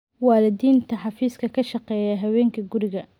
Waalidiinta xafiiska ka shaqeeya habeenkii guriga